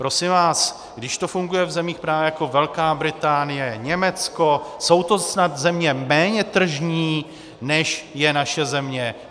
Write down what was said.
Prosím vás, když to funguje v zemích právě jako Velká Británie, Německo, jsou to snad země méně tržní, než je naše země?